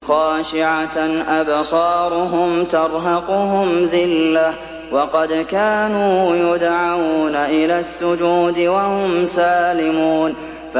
خَاشِعَةً أَبْصَارُهُمْ تَرْهَقُهُمْ ذِلَّةٌ ۖ وَقَدْ كَانُوا يُدْعَوْنَ إِلَى السُّجُودِ وَهُمْ سَالِمُونَ